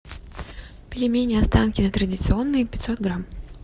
пельмени останкино традиционные пятьсот грамм